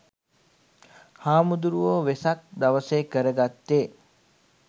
හාමුදුරුවො වෙසක් දවසෙ කරගත්තෙ